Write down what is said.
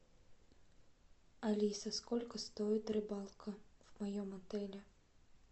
алиса сколько стоит рыбалка в моем отеле